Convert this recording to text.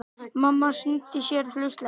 Mamma snýtti sér hraustlega.